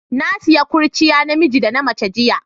Na siya kurciya na miji da na mace jiya.